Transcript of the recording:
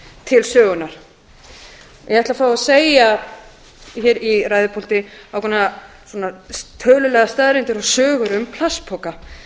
til sögunnar ég ætla að fá að segja hér í ræðupúlti ákveðnar tölulegar staðreyndir og sögur um plastpoka